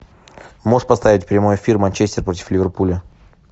можешь поставить прямой эфир манчестер против ливерпуля